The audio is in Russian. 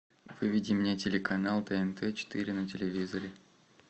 выведи мне телеканал тнт четыре на телевизоре